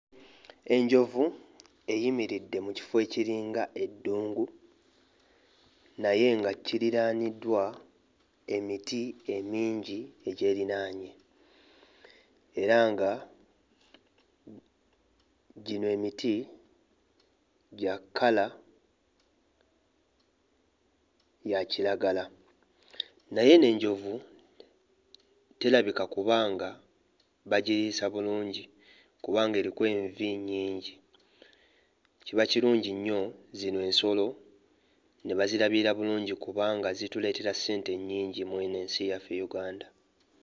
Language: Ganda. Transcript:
Enjovu eyimiridde mu kifo ekiringa eddungu naye nga kiriraaniddwa emiti emingi egyerinaanye era nga gino emiti gya kkala ya kiragala, naye eno enjovu terabika kuba nga bagiriisa bulungi kubanga eriko envi nnyingi, kiba kirungi nnyo zino ensolo ne bazirabirira bulungi kubanga zituleetera ssente nnyingi mu eno ensi yaffe Uganda.